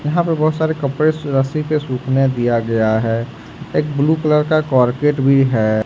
यहां पर बहुत सारे कपड़े से रस्सी पे सूखने दिया गया है एक ब्लू कलर का कारपेट भी है।